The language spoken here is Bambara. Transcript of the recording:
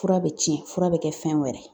Fura bɛ cɛn, fura bɛ kɛ fɛn wɛrɛ ye.